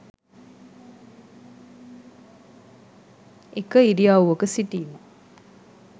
එක ඉරියව්වක සිටීම